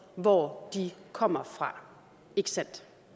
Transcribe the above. hvor de kommer fra ikke sandt